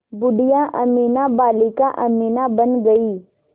बूढ़िया अमीना बालिका अमीना बन गईं